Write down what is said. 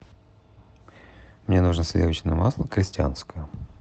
мне нужно сливочное масло крестьянское